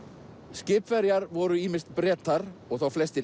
skipverjar voru ýmist Bretar og þá flestir